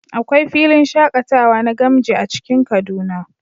Akwai filin shakatawa na gamji a cikin kaduna